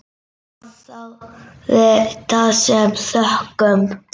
Mamma þáði það með þökkum.